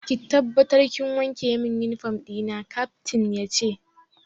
Ki tabbatar kin wanke min uniform dina, Captain yace.